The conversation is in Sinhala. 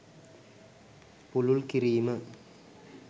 පුළුල් කිරීම